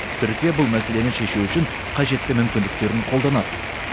түркия бұл мәселені шешу үшін қажетті мүмкіндіктерін қолданады